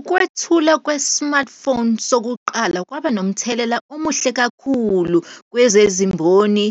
Ukwethula kwe-smartphone sokuqala, kwaba nomthelela omuhle kakhulu kwezimboni